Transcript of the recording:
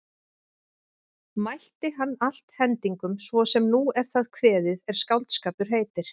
Mælti hann allt hendingum svo sem nú er það kveðið er skáldskapur heitir.